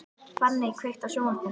Fanney, kveiktu á sjónvarpinu.